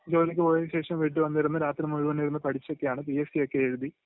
ജോലിയ്ക്ക് പോയേന് ശേഷം വീട്ടില്ക വന്നിരുന്ന് രാത്രി മൊത്തമിരുന്ന് പഠിച്ചൊക്കെയാണ് പി.എസ്.സി ഒക്കെ എഴുതി..